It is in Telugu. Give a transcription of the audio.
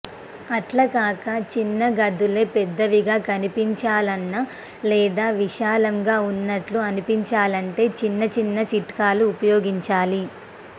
అట్లాకాక చిన్న గదులే పెద్దవిగా కనిపించాలన్నా లేదా విశాలంగా ఉన్నట్టు అనిపించాలంటే చిన్న చిన్న చిట్కాలు ఉపయోగించాలి